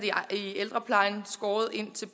i ældreplejen skåret ind til